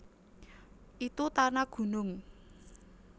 Itu ta na gunung